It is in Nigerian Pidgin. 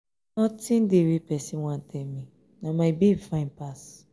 nothing wey person wan tell me na my babe fine pass.